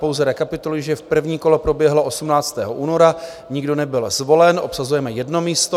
Pouze rekapituluji, že první kolo proběhlo 18. února, nikdo nebyl zvolen, obsazujeme jedno místo.